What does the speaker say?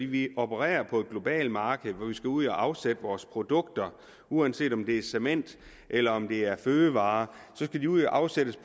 vi opererer på et globalt marked hvor vi skal ud at afsætte vores produkter uanset om det er cement eller om det er fødevarer skal det ud og afsættes